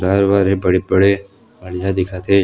Tyre wire हे बड़े-बड़े बढ़िया दिखत हे ।